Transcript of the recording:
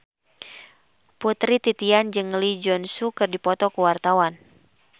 Putri Titian jeung Lee Jeong Suk keur dipoto ku wartawan